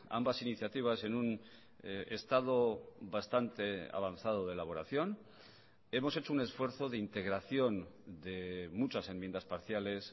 ambas iniciativas en un estado bastante avanzado de elaboración hemos hecho un esfuerzo de integración de muchas enmiendas parciales